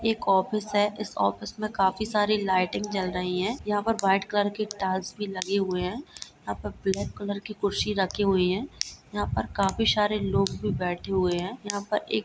एक ऑफिस है इस ऑफिस में काफी सारी लाइटिंग जल रही है यहाँ पर वाइट कलर के टाइल्स भी लगे हुए हैं यहाँ पर ब्लैक कलर की कुर्सी रखी हुई हैं यहाँ पर काफी शारे लोग भी बैठे हुए हैं यहाँ पर एक --